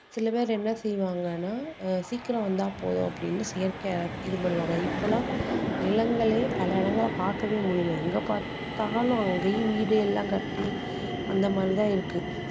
சில பேர் என்ன செய்வாங்கன்னா ஆஹ் சீக்கிரம் வந்தா போதும் அப்படீன்னு செயற்கையா இது பண்ணுவாங்க இப்போலாம் நிலங்களே பல இடங்கலள்ல பார்க்கவே முடியல எங்க பாத்தாலும் அங்கயும் வீடு எல்லாம் கட்டி அந்த மாதிரிதான் இருக்கு